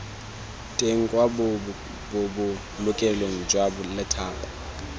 teng kwa bobolokelong jwa lephata